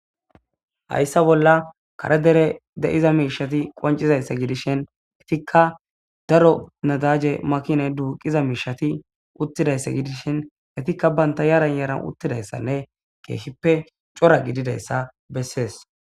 Hayssa bolla kare dere de'iza miishati qoncizaysse gidishin etikka daro nadaje makine duuqiza miishati uttidayssa gidishin etikka baynta yaran yaran uttidayssanne keehippe cora gididayssa bessees.